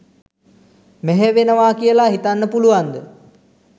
මෙහෙයවෙනවා කියලා හිතන්න පුළුවන්ද?